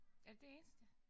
Er det det eneste?